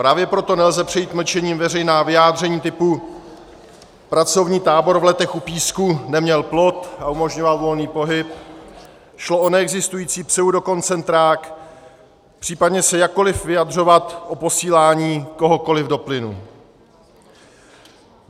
Právě proto nelze přejít mlčením veřejná vyjádření typu: pracovní tábor v Letech u Písku neměl plot a umožňoval volný pohyb, šlo o neexistující pseudokoncentrák, případně se jakkoliv vyjadřovat o posílání kohokoliv do plynu.